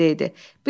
Tofiq də evdə idi.